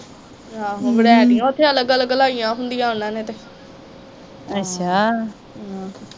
ਵਰੇਟੀਆ ਉੱਥੇ ਅਲਗ ਅਲਗ ਲਾਈਆ ਹੁੰਦੀਆਂ ਉਹਨਾਂ ਨੇ ਤੇ